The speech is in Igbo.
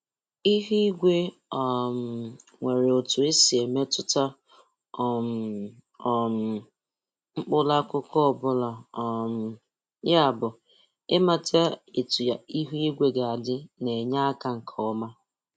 Ihu igwe um nwere otu o si emetụta um um mkpụrụ akụkụ ọbụla, um yabu, imata etu ihu igwe ga-adị na-enye aka nke ọma.